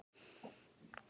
Nú er grínið alvara.